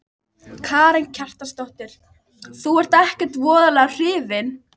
Karen Kjartansdóttir: Þú ert ekkert voðalega hrifinn?